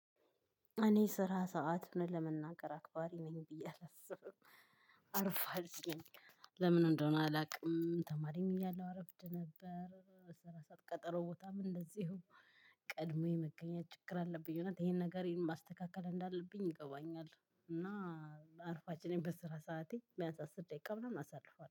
እኔ ስራ ሰዓት እውነት ለመናገር አክባሪ ነኝ ብዬ አላስብም። አርፋጅ ነኝ። ለምን እንደሆነ አላውቅም። ተማሪም እያለሁ አረፍድ ነበር። ስራ ሰዓት ቀጠሮ ቦታም እንደዚሁ። ቀድሞ የመገኘት ችግር አለብኝ እውነት ይሄን ነገር ማስተካከል እንዳለብኝ ይገባኛለሁ። እና አርፋጅ ነኝ በስራ ሰዓቴ ቢያንስ አስር ደቂቃ ምናምን አሳልፋለሁ